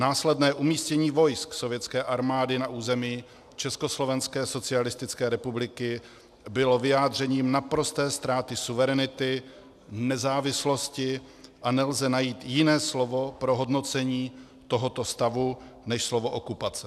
Následné umístění vojsk sovětské armády na území Československé socialistické republiky bylo vyjádřením naprosté ztráty suverenity, nezávislosti a nelze najít jiné slovo pro hodnocení tohoto stavu než slovo okupace.